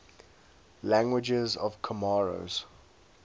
languages of comoros